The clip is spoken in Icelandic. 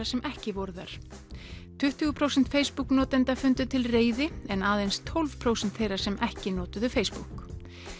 sem ekki voru þar tuttugu prósent Facebook notenda fundu til reið en aðeins tólf prósent þeirra sem ekki notuðu Facebook